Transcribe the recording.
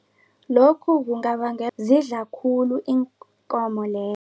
Lokhu zidla khulu iinkomo